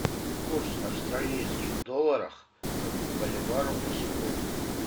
курс австралийских долларов к боливару на сегодня